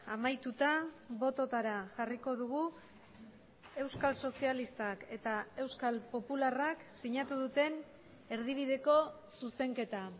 amaituta bototara jarriko dugu euskal sozialistak eta euskal popularrak sinatu duten erdibideko zuzenketa